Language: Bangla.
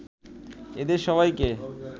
এদের সবাইকে